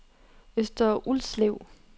Øster Ulslev